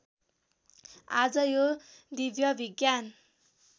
आज यो दिव्य विज्ञान